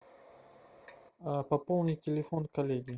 пополнить телефон коллеги